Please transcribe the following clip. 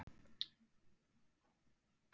Þær eru gjarnan flokkaðar í tvo meginflokka.